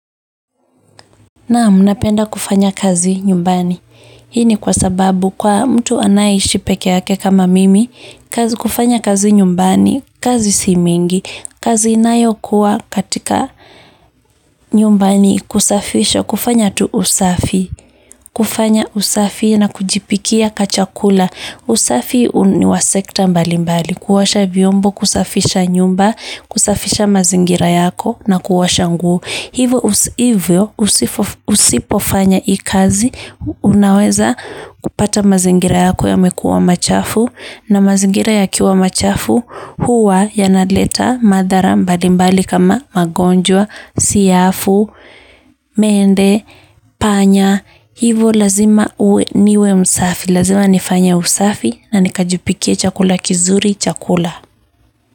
Naam, napenda kufanya kazi nyumbani. Hii ni kwa sababu kwa mtu anayeishi peke yake kama mimi, kufanya kazi nyumbani, kazi si mingi, kazi inayo kuwa katika nyumba ni kusafisha, kufanya tu usafi, kufanya usafi na kujipikia kachakula. Usafi ni wa sekta mbali mbali, kuosha viombo, kusafisha nyumba, kusafisha mazingira yako na kuosha nguo. Hivyo usipofanya i kazi, unaweza kupata mazingira yako yamekuwa machafu na mazingira yakiwa machafu huwa yanaleta madhara mbalimbali kama magonjwa, siafu, mende, panya. Hivyo lazima uwe niwe msafi, lazima nifanye usafi na nikajipikie chakula kizuri cha kula.